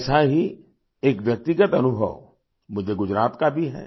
ऐसा ही एक व्यक्तिगत अनुभव मुझे गुजरात का भी है